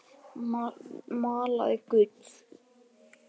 Malaði gull.